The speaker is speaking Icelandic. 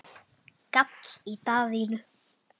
gall í Daðínu.